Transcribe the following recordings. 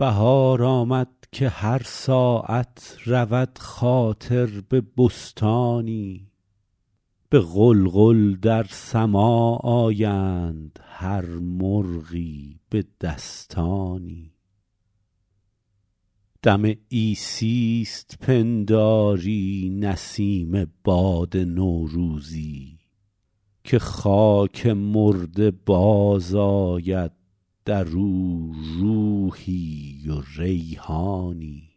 بهار آمد که هر ساعت رود خاطر به بستانی به غلغل در سماع آیند هر مرغی به دستانی دم عیسیست پنداری نسیم باد نوروزی که خاک مرده باز آید در او روحی و ریحانی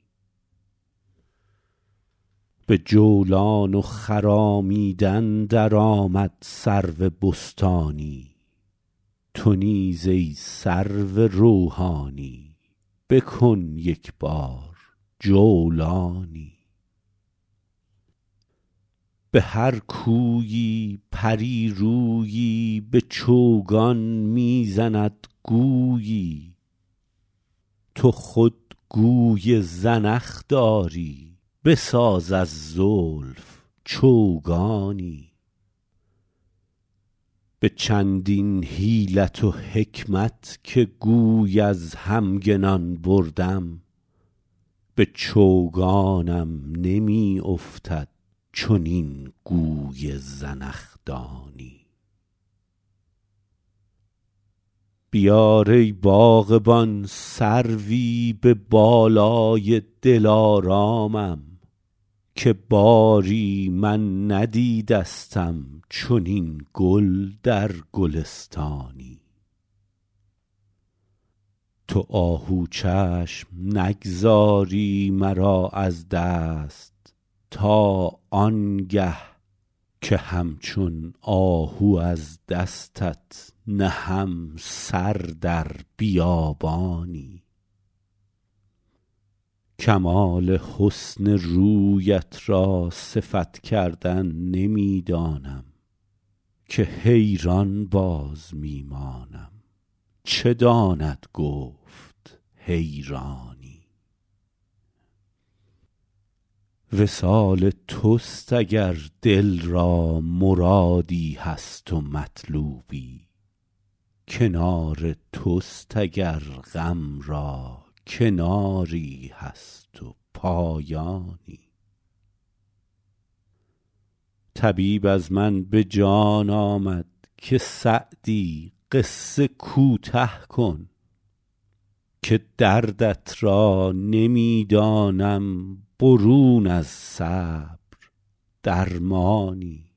به جولان و خرامیدن در آمد سرو بستانی تو نیز ای سرو روحانی بکن یک بار جولانی به هر کویی پری رویی به چوگان می زند گویی تو خود گوی زنخ داری بساز از زلف چوگانی به چندین حیلت و حکمت که گوی از همگنان بردم به چوگانم نمی افتد چنین گوی زنخدانی بیار ای باغبان سروی به بالای دلارامم که باری من ندیدستم چنین گل در گلستانی تو آهو چشم نگذاری مرا از دست تا آن گه که همچون آهو از دستت نهم سر در بیابانی کمال حسن رویت را صفت کردن نمی دانم که حیران باز می مانم چه داند گفت حیرانی وصال توست اگر دل را مرادی هست و مطلوبی کنار توست اگر غم را کناری هست و پایانی طبیب از من به جان آمد که سعدی قصه کوته کن که دردت را نمی دانم برون از صبر درمانی